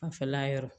Fanfɛla yɔrɔ